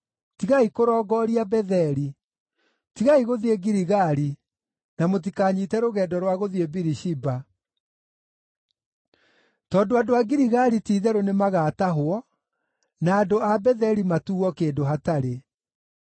tigai kũrongooria Betheli, tigai gũthiĩ Giligali, na mũtikanyiite rũgendo rwa gũthiĩ Birishiba. Tondũ andũ a Giligali ti-itherũ nĩmagatahwo, na andũ a Betheli matuuo kĩndũ hatarĩ.”